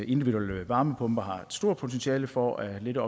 individuelle varmepumper har et stort potentiale for at lette